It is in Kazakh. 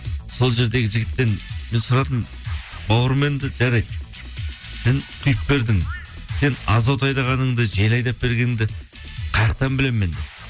сол жердегі жігіттен мен сұрадым бауырым енді жарайды сен құйып бердің сен азот айдағаныңды жел айдап бергеніңді білемін мен